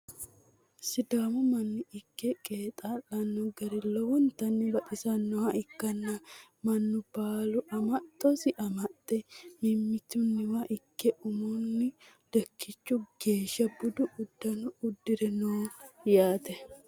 sidaamu manni ikke qeexaa'lanno gari lowontanni baxisannoha ikkanna, mannu baalu amaxxosi amaxxe mittimmatenni ikke umunni lekkichu geeshsha budu uddano uddire no yaate.